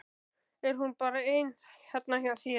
Er hún bara ein þarna hjá þér?